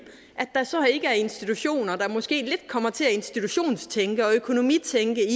at der så ikke er institutioner der måske kommer til at institutionstænke og økonomitænke